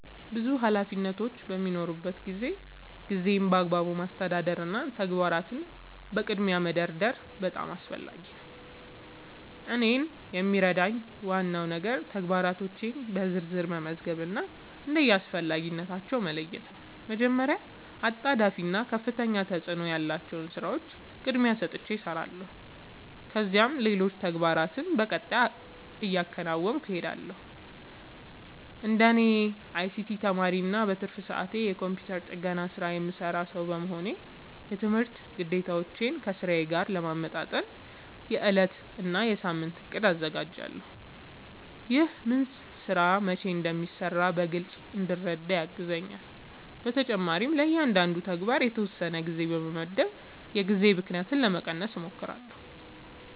ብዙ ኃላፊነቶች በሚኖሩበት ጊዜ ጊዜን በአግባቡ ማስተዳደር እና ተግባራትን በቅድሚያ መደርደር በጣም አስፈላጊ ነው። እኔን የሚረዳኝ ዋናው ነገር ተግባራቶቼን በዝርዝር መመዝገብ እና እንደ አስፈላጊነታቸው መለየት ነው። መጀመሪያ አጣዳፊ እና ከፍተኛ ተፅእኖ ያላቸውን ሥራዎች ቅድሚያ ሰጥቼ እሰራለሁ፣ ከዚያም ሌሎች ተግባራትን በቀጣይ እያከናወንሁ እሄዳለሁ። እንደ አይሲቲ ተማሪ እና በትርፍ ሰዓቴ የኮምፒውተር ጥገና ሥራ የምሠራ ሰው በመሆኔ፣ የትምህርት ግዴታዎቼን ከሥራዬ ጋር ለማመጣጠን የዕለት እና የሳምንት እቅድ አዘጋጃለሁ። ይህ ምን ሥራ መቼ እንደሚሠራ በግልጽ እንድረዳ ያግዘኛል። በተጨማሪም ለእያንዳንዱ ተግባር የተወሰነ ጊዜ በመመደብ የጊዜ ብክነትን ለመቀነስ እሞክራለሁ።